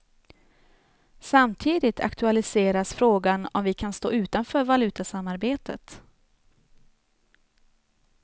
Samtidigt aktualiseras frågan om vi kan stå utanför valutasamarbetet.